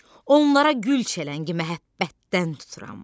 Onlara gül çələngi məhəbbətdən tuturam.